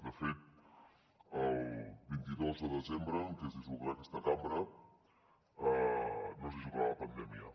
de fet el vint dos de desembre en què es dissoldrà aquesta cambra no es dissoldrà la pandèmia